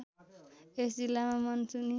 यस जिल्लामा मनसुनी